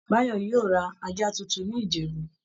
Báyò yóò lọ ra ajá tuntun ní Ìjẹ̀bú